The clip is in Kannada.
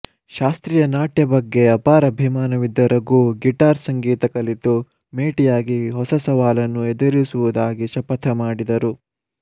ಶಾಸ್ತ್ರೀಯ ನಾಟ್ಯ ಬಗ್ಗೆ ಅಪಾರ ಅಭಿಮಾನವಿದ್ದ ರಘು ಗಿಟಾರ್ ಸಂಗೀತ ಕಲಿತು ಮೇಟಿಯಾಗಿ ಹೊಸಸವಾಲನ್ನು ಎದುರಿಸುವುದಾಗಿ ಶಪಥಮಾಡಿದರು